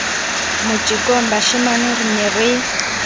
motjekong bashemane re ne re